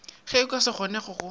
ge go sa kgonege go